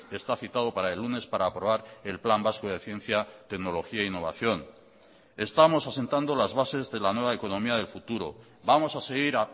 está citado para el lunes para aprobar el plan vasco de ciencia tecnología e innovación estamos asentando las bases de la nueva economía del futuro vamos a seguir